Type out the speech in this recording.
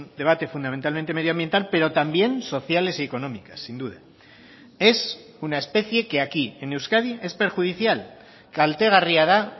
debate fundamentalmente medioambiental pero también sociales y económicas sin duda es una especie que aquí en euskadi es perjudicial kaltegarria da